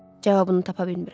Cavabını tapa bilmirəm.